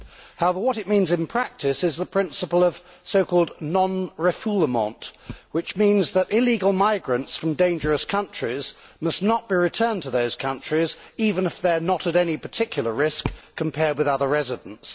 However, what it means in practice is the principle of so called non refoulement which means that illegal migrants from dangerous countries must not be returned to those countries even if they are not at any particular risk compared with other residents.